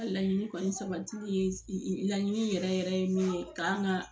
Laɲini kɔni sabatili ye laɲini yɛrɛ yɛrɛ ye min ye k'an ka